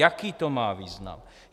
Jaký to má význam?